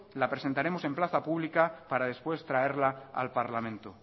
la presentaremos en plaza pública para después traerla al parlamento